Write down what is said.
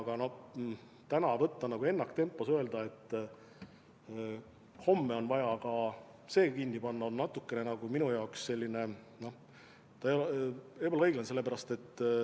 Aga täna tegutseda ennaktempos, öelda, et homme on vaja ka see kinni panna – see minu arvates ei ole õiglane.